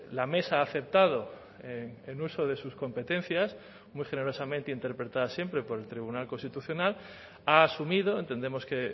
la mesa ha aceptado en uso de sus competencias muy generosamente interpretada siempre por el tribunal constitucional ha asumido entendemos que